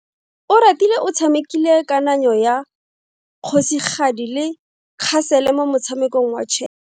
Oratile o tshamekile kananyo ya kgosigadi le khasele mo motshamekong wa chess.